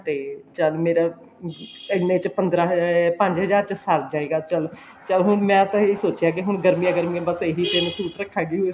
ਤੇ ਚੱਲ ਮੇਰੇ ਇਹਨੇ ਚ ਪੰਦਰਾ ਅਹ ਪੰਜ ਹਜ਼ਾਰ ਚ ਸਰ ਜਾਏਗਾ ਚੱਲ ਚੱਲ ਹੁਣ ਮੈਂ ਤਾਂ ਇਹ ਸੋਚਿਆ ਕੇ ਹੁਣ ਗਰਮੀਆਂ ਗਰਮੀਆਂ ਬੱਸ ਇਹੀ ਤਿੰਨ suit ਰੱਖਾਂਗੀ